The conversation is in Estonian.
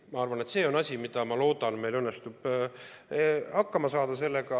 Ma arvan, et see on asi, millega, ma loodan, meil õnnestub hakkama saada.